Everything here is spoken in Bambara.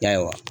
Ya